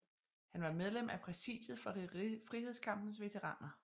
Han var medlem af præsidiet for Frihedskampens Veteraner